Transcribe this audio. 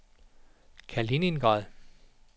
Kaliningrad